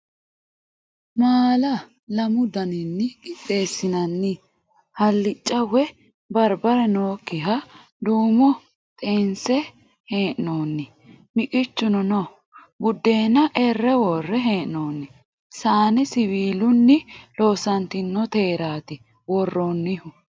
Maala lamu daninni qixxeessinoonni halicca woyi barbare nookkihanna duumo xeense hee'noonni. miqichuno no. Buddeena erre worre hee'noonni. saane siwiilunni loosantoniteraaati worroonnihu